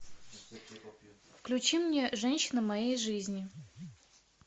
включи мне женщина моей жизни